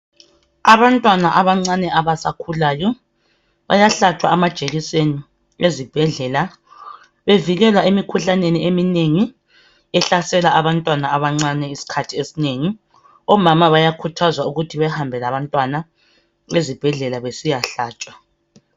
Abantwana abancane abasakhulayo ,bayahlatshwa amajekiseni ezibhedlela. bevikelwa emikhuhlaneni eminengi ehlasela abantwana abancani isikhathini esinengi .Omama bayakhuthazwa ukuthi behambe labantwana ezibhedlela besiyahlatshwa.